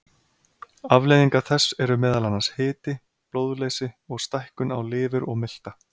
Afleiðingar þess eru meðal annars hiti, blóðleysi og stækkun á lifur og milta.